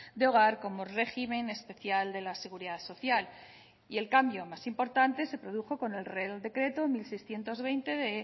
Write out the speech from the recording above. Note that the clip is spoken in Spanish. de hogar como régimen especial de la seguridad social y el cambio más importante se produjo con el real decreto mil seiscientos veinte de